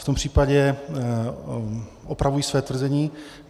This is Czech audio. V tom případě opravuji své tvrzení.